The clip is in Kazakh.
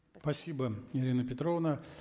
спасибо ирина петровна